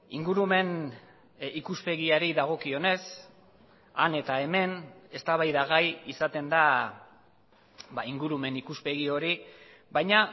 ingurumen ikuspegiari dagokionez han eta hemen eztabaidagai izaten da ingurumen ikuspegi hori baina